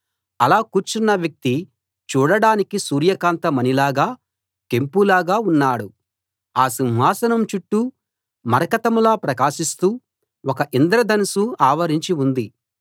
అలా కూర్చున్న వ్యక్తి చూడడానికి సూర్యకాంత మణిలాగా కెంపులాగా ఉన్నాడు ఆ సింహాసనం చుట్టూ మరకతంలా ప్రకాశిస్తూ ఒక ఇంద్రధనుస్సు ఆవరించి ఉంది